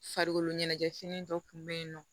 Farikolo ɲɛnajɛfini dɔ tun bɛ yen nɔ